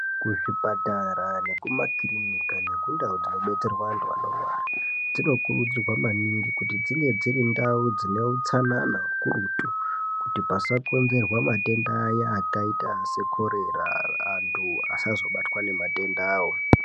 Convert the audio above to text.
Kuzvipatara nekumakirinika nekundau dzinobetserwa antu anorwara dzinokurudzirwa maningi kuti dzinge dziri ndau dzine utsanana hukurutu kuti pasakonzerwa matenda aya akaita sekorera antu asazobatwa nematenda awa.